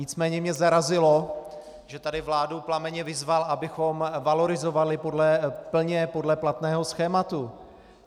Nicméně mě zarazilo, že tady vládu plamenně vyzval, abychom valorizovali plně podle platného schématu.